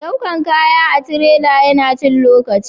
daukan kaya da tirela ya na cin lokaci